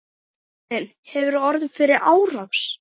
Karen: Hefurðu orðið fyrir árás?